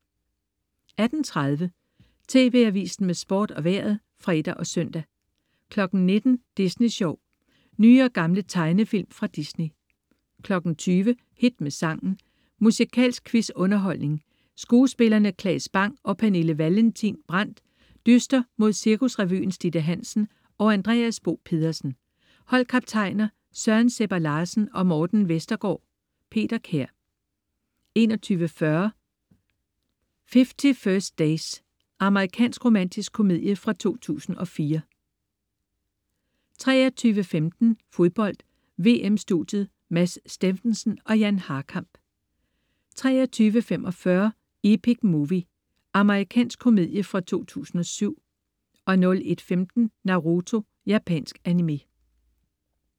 18.30 TV Avisen med Sport og Vejret (fre og søn) 19.00 Disney Sjov. Nye og gamle tegnefilm fra Disney 20.00 Hit med sangen. Musikalsk quiz-underholdning. Skuespillerne Claes Bang og Pernille Vallentin Brandt dyster mod Cirkusrevyens Ditte Hansen og Andreas Bo Pedersen. Holdkaptajner: Søren Sebber Larsen og Morten Vestergaard. Peter Kær 21.40 50 First Dates. Amerikansk romantisk komedie fra 2004 23.15 Fodbold: VM-studiet. Mads Steffensen og Jan Harkamp 23.45 Epic Movie. Amerikansk komedie fra 2007 01.15 Naruto. Japansk animé